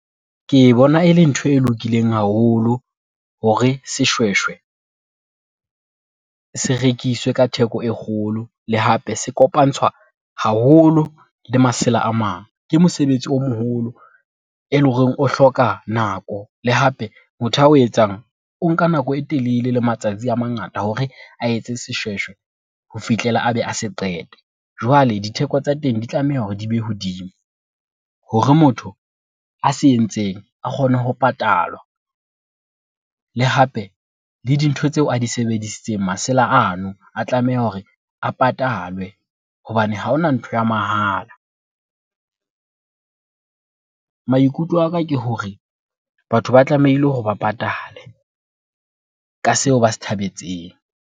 Ke bona e le ntho e lokileng haholo hore seshweshwe, se rekiswe ka theko e kgolo, le hape se kopantshwa haholo le masela a mang. Ke mosebetsi o moholo, e lo reng o hloka nako le hape motho a o etsang o nka nako e telele le matsatsi a mangata hore a etse seshweshwe ho fihlela a be a se qete. Jwale ditheko tsa teng di tlameha hore di be hodimo, hore motho a se entseng a kgone ho patalwa le hape le dintho tseo a di sebedisitseng, masela ano a tlameha hore a patalwe hobane ha hona ntho ya mahala. Maikutlo aka ke hore batho ba tlameile hore ba patale ka seo ba se thabetseng.